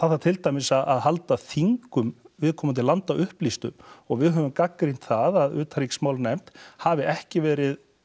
þarf til dæmis að halda þingum viðkomandi landa upplýstum og við höfum gagnrýnt það að utanríkismálanefnd hafi ekki verið